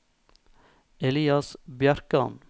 Elias Bjerkan